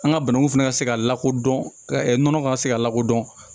An ka bananku fana ka se k'a lakodɔn ka se ka lakodɔn